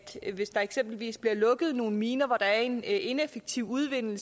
hvis der eksempelvis bliver lukket nogle miner hvor der er en ineffektiv udvinding